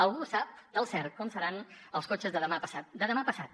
algú sap del cert com seran els cotxes de demà passat de demà passat